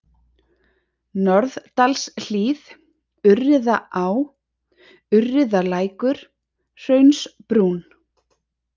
Norðdalshlíð, Urriðaá, Urriðalækur, Hraunsbrún